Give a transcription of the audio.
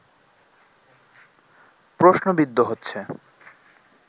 প্রশ্নবিদ্ধ হচ্ছে